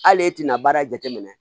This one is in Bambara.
Hali e tɛna baara jate minɛ